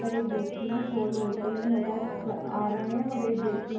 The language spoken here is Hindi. पर एक व्यक्ति ने शॉल ओढ़ते हुए नजर जा आ रहे है और एक व्यक्ति ने--